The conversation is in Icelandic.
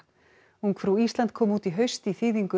ungfrú Ísland kom út í haust í þýðingu